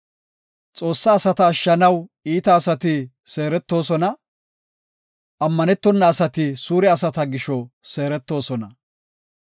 Xoossa asata ashshanaw iita asati seeretosona; ammanetona asati suure asata gisho seeretosona.